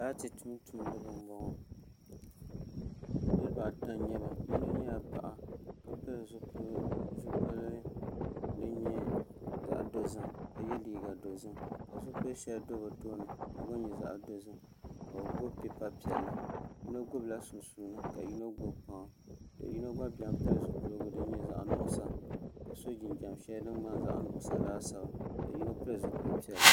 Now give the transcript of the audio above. laati tum tumdi ba m- bɔŋɔ niriba ata n-nyɛ ba yino nyɛla paɣa ka pili zupiligu din nyɛ zaɣ' dozim ka ye liiga dozim ka zupil' shɛli bɛ tooni ka gba nyɛ zaɣ' dozim ka bɛ gbubi pipa piɛlli yino gbubi la sunsuuni ka yino gbubi kpaŋa ka yino gba beni pili zupiligu din nyɛ zaɣ' nuɣisa ka su jinjam shɛli din ŋmani zaɣ' nuɣisa laasabu ka yino pili zupil' piɛlli.